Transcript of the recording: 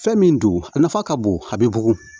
Fɛn min don a nafa ka bon a bɛ bugun